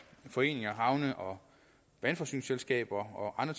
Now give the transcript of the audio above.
foreninger havne og vandforsyningsselskaber og